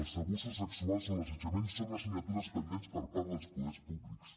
els abusos sexuals o l’assetjament són assignatures pendents per part dels poders públics